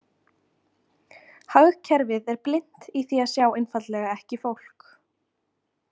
Hagkerfið er blint í því að sjá einfaldlega ekki fólk.